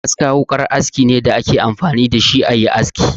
Aska wukar aski ne da a ke amfani da shi a yi aski.